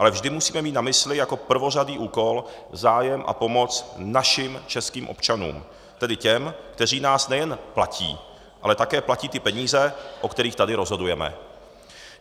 Ale vždy musíme mít na mysli jako prvořadý úkol zájem a pomoc našim českým občanům, tedy těm, kteří nás nejen platí, ale také platí ty peníze, o kterých tady rozhodujeme.